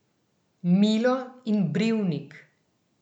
Milo in brivnik.